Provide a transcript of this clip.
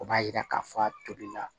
O b'a yira k'a fɔ a tobi la